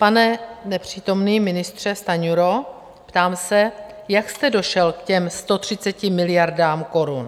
Pane nepřítomný ministře Stanjuro, ptám se, jak jste došel k těm 130 miliardám korun?